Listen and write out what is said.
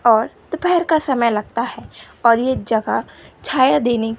और दोपहर का समय लगता है और ये जगह छाया देने--